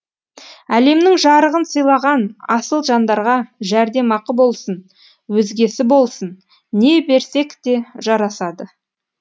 әлемнің жарығын сыйлаған асыл жандарға жәрдемақы болсын өзгесі болсын не берсек те жарасады